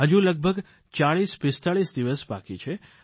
હજુ લગભગ ચાળીસ પિસ્તાળીસ દિવસ બાકી છે